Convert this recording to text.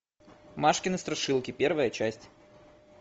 машкины страшилки первая часть